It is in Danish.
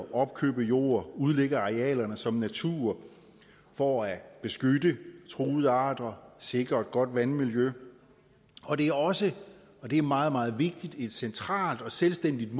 at opkøbe jord og udlægge arealerne som natur for at beskytte truede arter sikre et godt vandmiljø og det er også og det er meget meget vigtigt et centralt og selvstændigt